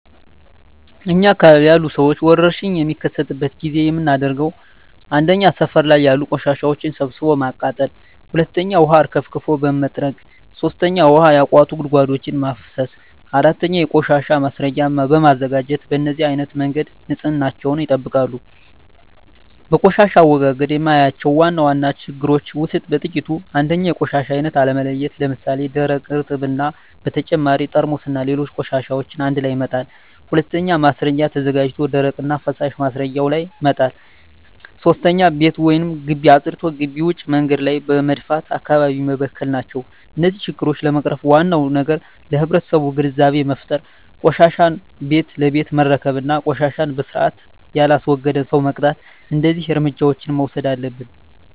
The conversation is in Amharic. እኛ አካባቢ ያሉ ሠዎች ወርሽኝ በሚከሰትበት ጊዜ የምናደርገው 1. ሠፈር ላይ ያሉ ቆሻሻዎችን ሠብስቦ በማቃጠል 2. ውሀ አርከፍክፎ በመጥረግ 3. ውሀ ያቋቱ ጉድጓዶችን በማፋሠስ 4. የቆሻሻ ማስረጊያ በማዘጋጀት በነዚህ አይነት መንገድ ንፅህናቸውን ይጠብቃሉ። በቆሻሻ አወጋገድ የማያቸው ዋና ዋና ችግሮች ውስጥ በጥቂቱ 1. የቆሻሻ አይነት አለመለየት ለምሣሌ፦ ደረቅ፣ እርጥብ እና በተጨማሪ ጠርሙስና ሌሎች ቆሻሻዎችን አንድላይ መጣል። 2. ማስረጊያ ተዘጋጅቶ ደረቅና ፈሣሽ ማስረጊያው ላይ መጣል። 3. ቤት ወይም ግቢ አፅድቶ ግቢ ውጭ መንገድ ላይ በመድፋት አካባቢውን መበከል ናቸው። እነዚህን ችግሮች ለመቅረፍ ዋናው ነገር ለማህበረሠቡ ግንዛቤ መፍጠር፤ ቆሻሻን ቤት ለቤት መረከብ እና ቆሻሻን በስርአት የላስወገደን ሠው መቅጣት። እደዚህ እርምጃዎች መውሠድ አለብን።